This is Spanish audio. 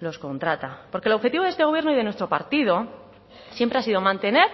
los contrata porque el objetivo de este gobierno y de nuestro partido siempre ha sido mantener